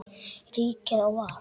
Ríkið á val.